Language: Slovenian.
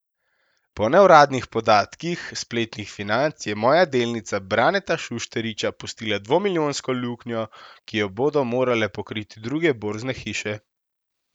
Po neuradnih podatkih spletnih Financ je Moja delnica Braneta Šušteriča pustila dvomilijonsko luknjo, ki jo bodo morale pokriti druge borzne hiše.